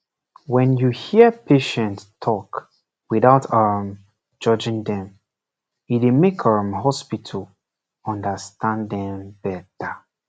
when you hear patient talk without um judging dem e make hospital um understand dem better